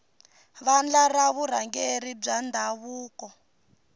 vandla ra vurhangeri bya ndhavuko